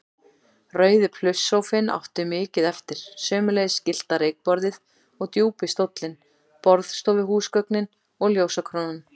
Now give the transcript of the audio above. Rauði plusssófinn átti mikið eftir, sömuleiðis gyllta reykborðið og djúpi stóllinn, borðstofuhúsgögnin og ljósakrónan.